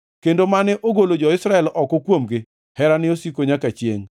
kendo mane ogolo jo-Israel oko kuomgi, Herane osiko nyaka chiengʼ.